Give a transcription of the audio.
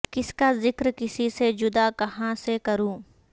کسی کا ذکر کسی سے جدا کہاں سے کروں